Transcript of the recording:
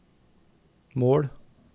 mål